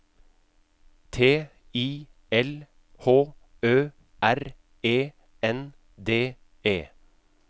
T I L H Ø R E N D E